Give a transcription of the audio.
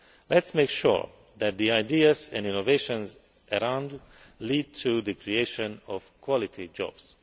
Let us make sure that the ideas and innovations around lead to the creation of quality jobs.